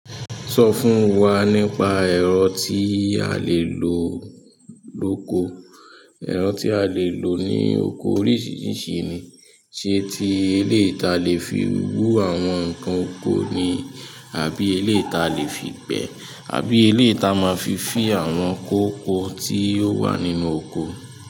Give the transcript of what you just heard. So fún wa nípa ero tí a lè lo loko. Ẹ̀rọ tí a lè lò ní oko oríṣiríṣi ni, ṣe ti eléyi ta lè fi wú àwọn ǹkan oko ni, àbí eleyi ta lè fi gbẹ́, àbí eleyi ta máa fi fin àwọn kókó tí ò wà nínú oko.